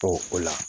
Ɔ o la